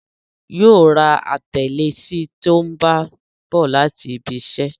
Yóò ra atalẹ̀ sí tí ó bá ń bọ̀ láti ibiṣẹ́